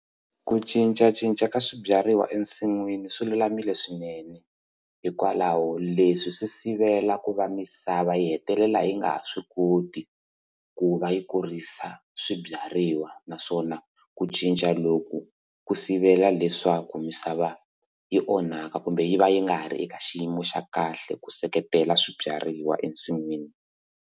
Ku cincacinca ka swibyariwa ensin'wini swilulamile swinene hikwalaho leswi swi sivela ku va misava yi hetelela yi nga ha swi koti ku va yi kurisa swibyariwa naswona ku cinca loku ku sivela leswaku misava yi onhaka kumbe yi va yi nga ri eka xiyimo xa kahle ku seketela swibyariwa ensin'wini.